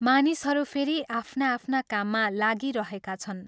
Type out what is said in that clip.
मानिसहरू फेरि आफ्ना आफ्ना काममा लागिरहेका छन्।